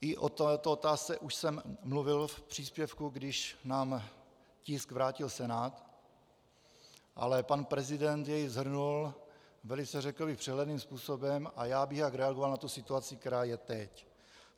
I o této otázce už jsem mluvil v příspěvku, když nám tisk vrátil Senát, ale pan prezident jej shrnul velice, řekl bych, přehledným způsobem a já bych rád reagoval na tu situaci, která je teď.